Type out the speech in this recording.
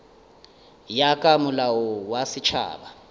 ya ka molao wa setšhaba